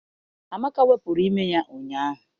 Amaka wepụrụ ime ya ụnyaahụ.